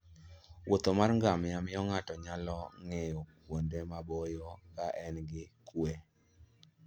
wuoth mar ngamia miyo ng'ato nyalo nge'yo kuonde maboyo ka en gi kuwe.